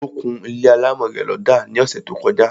Ó kún ilé alámọ̀ rẹ̀ lọ́dà ní ọsẹ̀ tó; kọjá